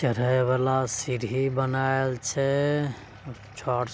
चढ़े वाला सीढ़ी बनेयल छे छोर --